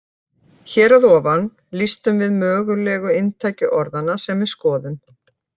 Hér að ofan lýstum við mögulegu inntaki orðanna sem við skoðum.